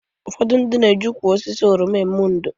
Ụfọdụ ndị na-eji ukwu osisi oroma eme ndò